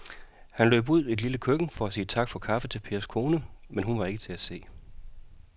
Han løb ud i det lille køkken for at sige tak for kaffe til Pers kone, men hun var ikke til at se.